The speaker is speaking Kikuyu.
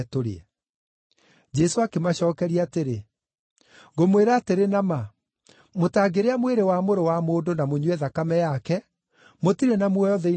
Jesũ akĩmacookeria atĩrĩ, “Ngũmwĩra atĩrĩ na ma, mũtangĩrĩa mwĩrĩ wa Mũrũ wa Mũndũ na mũnyue thakame yake, mũtirĩ na muoyo thĩinĩ wanyu.